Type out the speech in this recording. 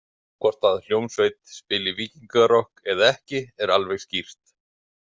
Hvort að hljómsveit spili víkingarokk eða ekki er alveg skýrt.